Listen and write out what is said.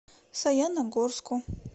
саяногорску